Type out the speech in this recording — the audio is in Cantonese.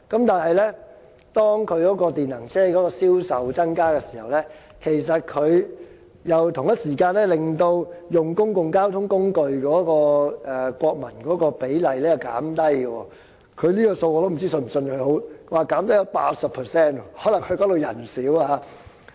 但是，當電能車的銷售增加時，其實同一時間也令其國民使用公共交通工具的比例減低——這個數字，我也不知道是否應該相信——減低了 80%， 可能因為當地人少。